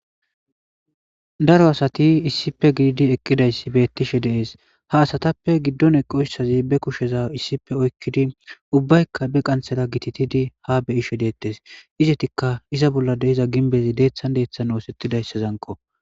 daro asati issipe gididi eqqidayssi beettishe deees ha asatappe giddon eqoyssazi be kusheza issippe oykkidi ubbaykka be qanthera gititidi ha beyishe deettes izetikka iza bolla deiza ginbezi deeththan deeththan oosettidayssa zanko